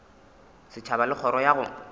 setšhaba le kgoro ya go